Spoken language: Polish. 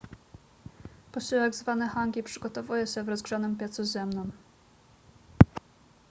posiłek zwany hangi przygotowuje się w rozgrzanym piecu ziemnym